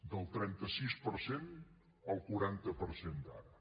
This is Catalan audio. del trenta sis per cent al quaranta per cent d’ara